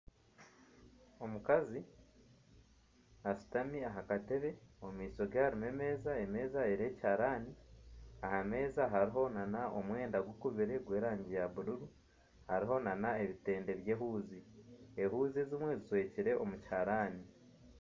Omukazi ashutami aha katebe, omu maisho ge hariho emeeza, emeeza eriho ekiharani, aha meeza hariho omwenda gukuzire gw'erangi ya bururu hariho nana ebitende by'ehuuzi, ehuuzi ezimwe zijwekire omu kiharani